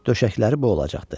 Döşəkləri bu olacaqdı.